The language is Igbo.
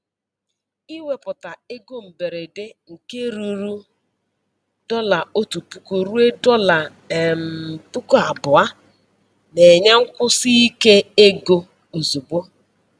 Ịwepụta ego mberede nke ruru dọla otu puku ruo dọla um puku abụọ na-enye nkwụsi ike ego ozugbo.